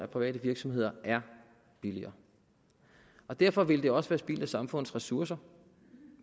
private virksomheder er billigere derfor ville det også være spild af samfundets ressourcer